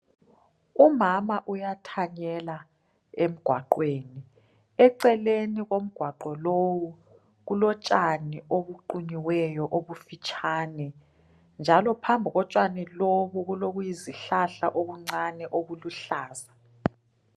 Umama uyathanyela emgwaqweni eceleni komgwaqo lowo kulotshani obuqunyiweyo obufitshane njalo phambi kotshani lobu kulokuyizihlahla okuncane okuluhlaza.